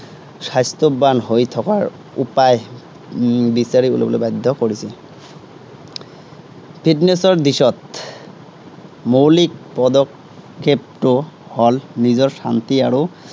স্বাস্থ্য়ৱান হৈ থকাৰ উপায় উম বিচাৰি উলিয়াবলৈ বাধ্য় কৰিছিল। fitness ৰ দিশত মৌলিক পদক্ষেপটো হল নিজৰ শান্তি আৰু